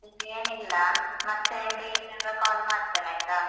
ಏನಿಲ್ಲ ಮತ್ತೆ free ಇದ್ದಾಗ call ಮಾಡ್ತೇನಾಯ್ತು?